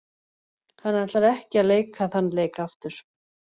Hann ætlar ekki að leika þann leik aftur.